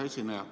Hea esineja!